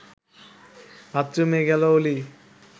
বাথরুমে গেল অলি